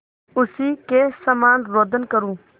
उसी के समान रोदन करूँ